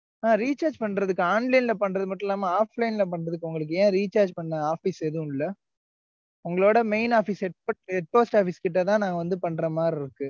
ஆஹ் recharge பண்றதுக்கு, online ல பண்றது மட்டும் இல்லாம, offline ல பண்றதுக்கு, அவங்களுக்கு ஏன் recharge பண்ண, office எதுவும் இல்லை? உங்களோட main office, head post office கிட்டதான், நாங்க வந்து, பண்ற மாதிரி இருக்கு.